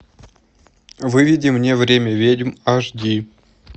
выведи мне время ведьм аш ди